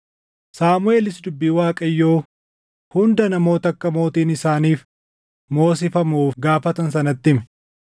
Saamuʼeelis dubbii Waaqayyoo hunda namoota akka mootiin isaaniif moosifamuuf gaafatan sanatti hime.